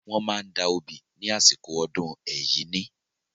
Wọ́n máa ń da obì ní àsìkò ọdún Ẹ̀yíní.